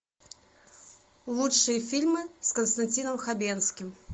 лучшие фильмы с константином хабенским